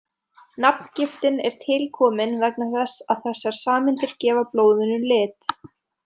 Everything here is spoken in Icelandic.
Nafngiftin er tilkomin vegna þess að þessar sameindir gefa blóðinu lit.